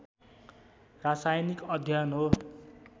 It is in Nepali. रासायनिक अध्ययन हो